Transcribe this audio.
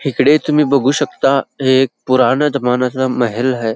हिकडे तुम्ही बघू शकता हे एक पुराण जमण्यातल महेल हाय.